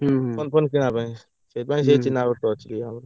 ହୁଁ ହୁଁ phone phone କିଣିବାପାଇଁ ସେଥିପାଇଁ ସେ ଚିହ୍ନାପରିଚ ଅଛି ଆମର।